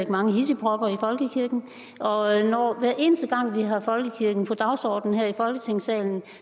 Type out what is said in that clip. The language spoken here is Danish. mange hidsigpropper i folkekirken og hver eneste gang vi har folkekirken på dagsordenen her i folketingssalen